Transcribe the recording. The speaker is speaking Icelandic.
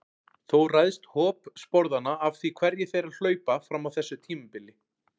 Þó ræðst hop sporðanna af því hverjir þeirra hlaupa fram á þessu tímabili.